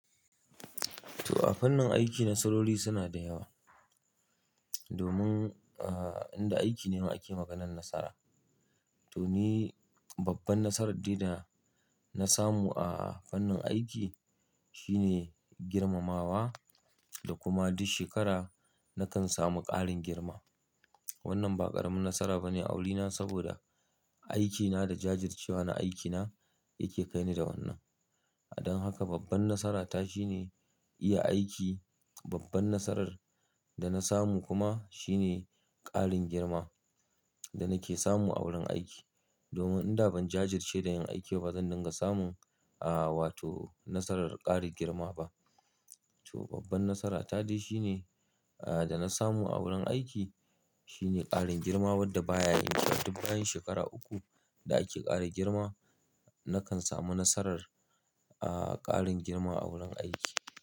To a fannin aiki nasarori suna da yawa. Domin aa, inda aiki ne ake maganar nasara. To ni babban nasarar dai da na samu a fannin aiki shine girmamawa da kuma duk shekara nakan samu ƙarin girma. Wannan ba ƙaramin nasara bane a wurina saboda aikina da jajircewa na aikina yake kai ni da wannan. Don haka babban nasarata shine iya aiki. Babban nasarar da na samu kuma shine ƙarin girma da nake samu a wurin aiki. Domin inda ban jajirce da yin aiki ba zan dinga samun a, wato nasarar ƙarin girma ba. To babban nasarata dai shine aa, da na samu a wurin aiki shine ƙarin girma wanda baya yanke duk bayan shekara uku da ake ƙara girma, nakan samu nasarar aa, ƙarin girma a wurin aiki.